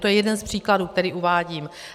To je jeden z příkladů, který uvádím.